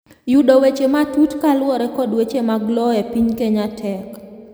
yudo weche matut kaluwore kod weche mag lowo e piny Kenya tek